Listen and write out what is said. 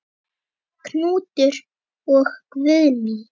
Knútur og Guðný.